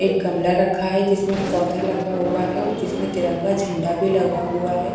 एक गमला रखा है जिसमें पौधे लगा हुआ है और जिसमें तिरंगा झंडा भी लगा हुआ है।